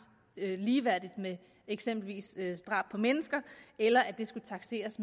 ligeværdigt med eksempelvis drab på mennesker eller at det skulle takseres